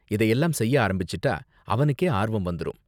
இதையெல்லாம் செய்ய ஆரம்பிச்சுட்டா, அவனுக்கே ஆர்வம் வந்துரும்.